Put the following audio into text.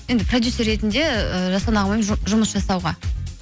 енді продюсер ретінде ы жасұлан ағамен жұмыс жасауға